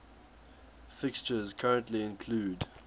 fixtures currently include